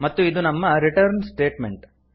ಮತ್ತು ಇದು ನಮ್ಮ ರಿಟರ್ನ್ ಸ್ಟೇಟ್ಮೆಂಟ್